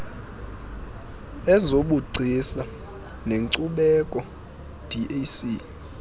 lezobugcisa nenkcubeko dac